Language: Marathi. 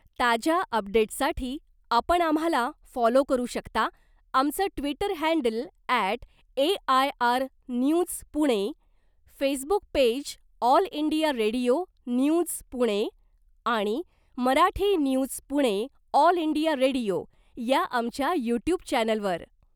ताज्या अपडेट्ससाठी आपण आम्हाला फॉलो करु शकता आमचं Twitter handle at AIR news Pune , Facebook page all India radio news Pune आणि Marathi news Pune all India radio या आमच्या यूट्यूब चॅनेलवर .